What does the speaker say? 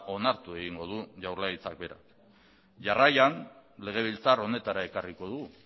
onartu egingo du jaurlaritza berak jarraian legebiltzar honetara ekarriko dugu